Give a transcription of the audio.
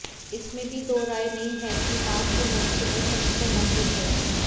इसमें भी दो राय नहीं है कि मांग के मोर्चे पर समस्या मौजूद है